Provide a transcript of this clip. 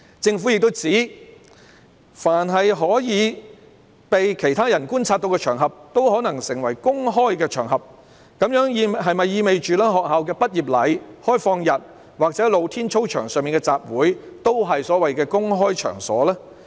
政府又指，凡可被其他人觀察到的場合，也有可能成為公開場合，這樣是否意味着學校畢業禮、開放日或露天操場上的集會也是所謂"公開場所"？